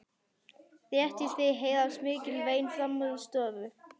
Rétt í því heyrast mikil vein framan úr stofu.